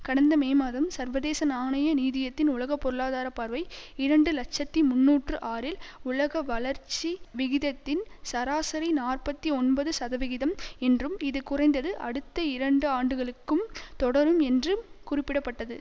கடந்த மே மாதம் சர்வதேச நாணய நீதியத்தின் உலக பொருளாதார பார்வை இரண்டு இலட்சத்தி முன்னூற்று ஆறில் உலக வளர்ச்சி விகிதத்தின் சராசரி நாற்பத்தி ஒன்பது சதவிகிதம் என்றும் இது குறைந்தது அடுத்த இரண்டு ஆண்டுகளுக்கும் தொடரும் என்றும் குறிப்பிட பட்டது